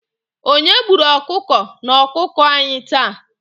Onye gburu ọkụkọ na akụkọ anyị taa?